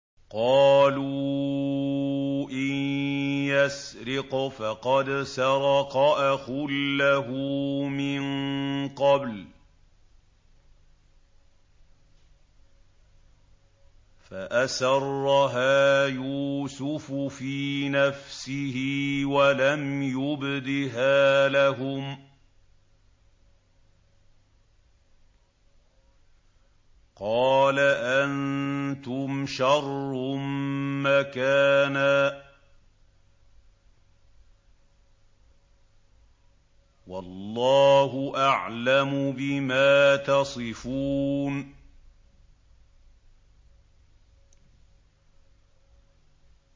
۞ قَالُوا إِن يَسْرِقْ فَقَدْ سَرَقَ أَخٌ لَّهُ مِن قَبْلُ ۚ فَأَسَرَّهَا يُوسُفُ فِي نَفْسِهِ وَلَمْ يُبْدِهَا لَهُمْ ۚ قَالَ أَنتُمْ شَرٌّ مَّكَانًا ۖ وَاللَّهُ أَعْلَمُ بِمَا تَصِفُونَ